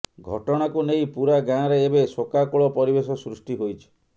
ଘଟଣାକୁ ନେଇ ପୂରା ଗାଁରେ ଏବେ ଶୋକାକୁଳ ପରିବେଶ ସୃଷ୍ଟି ହୋଇଛି